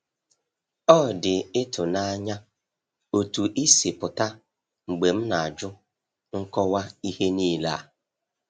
Ọ dị ịtụnanya otú ị si pụta mgbe m na-ajụ nkọwa ihe niile a.